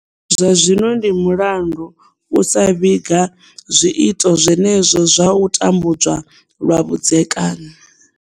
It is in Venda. Zwa zwino ndi mulandu usa vhiga zwiito zwenezwo zwa u tambudzwa lwa vhudzekani.